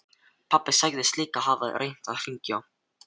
Pabbi sagðist líka hafa reynt að hringja.